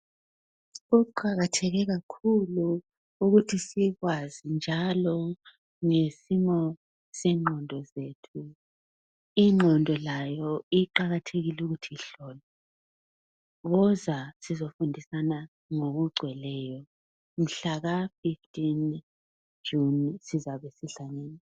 Kuqakatheke kakhulu ukuthi sikwazi njalo ngesimo sengqondo zethu ingqondo layo iqakathekile ukuthi ihlolwe woza sizofundisana ngokugcweleyo mhlaka 15 June sizabe sihlangene.